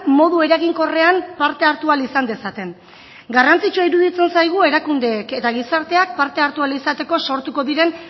modu eraginkorrean parte hartu ahal izan dezaten garrantzitsua iruditzen zaigu erakundeek eta gizarteak parte hartu ahal izateko sortuko diren